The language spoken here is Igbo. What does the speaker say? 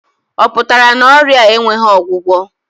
Ọ pụtara na ọrịa a enweghị ọgwụgwọ?